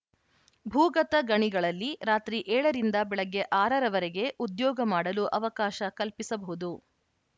ಭೂಗತ ಗಣಿಗಳಲ್ಲಿ ರಾತ್ರಿ ಏಳ ರಿಂದ ಬೆಳಗ್ಗೆ ಆರ ರವರೆಗೆ ಉದ್ಯೋಗ ಮಾಡಲು ಅವಕಾಶ ಕಲ್ಪಿಸಬಹುದು